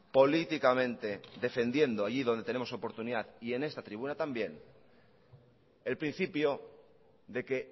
políticamente defendiendo allí donde tenemos oportunidad y en esta tribuna también el principio de que